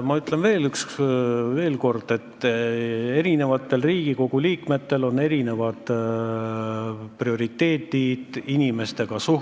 Ma ütlen veel üks kord, et Riigikogu liikmetel on erinevad prioriteedid inimeste ja